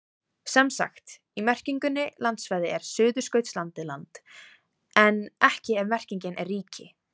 Sem sagt, í merkingunni landsvæði er Suðurskautslandið land en ekki ef merkingin er ríki.